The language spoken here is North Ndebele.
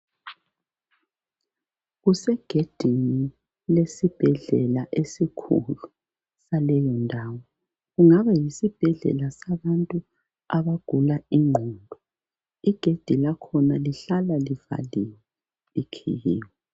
Kusegedini lesibhedlela esikhulu saleyi ndawo. Kungaba yesibhedlela. Kungaba yesibhedlela sabantu abagula ingqondo. Igedi lakhona lihlala livaliwe likhiyiwe